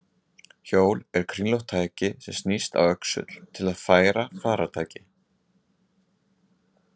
Hjól er kringlótt tæki sem snýst á öxull til að færa farartæki.